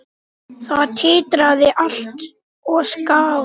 Það titraði allt og skalf.